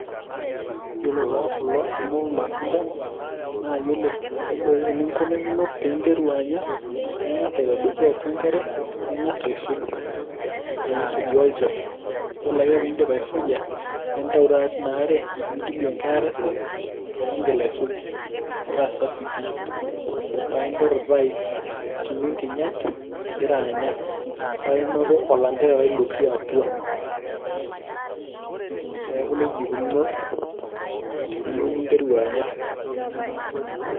iyiolo taa kulo amu ir, matunda. iyiolo enkinkunakino pee interu anya, naa ing'as aitadoiki atua enkare, ning'as aisuj, pee isujaa olchafu. iyiolo pee iidip aisuja, nintayu taata teina are nigilie enkae are safi, paa iigil aisuj, metaa safi pi, paa iinteru taa akinyu nkinyat igira anya, neeku nejia eikununu teniyieu ninteru anya.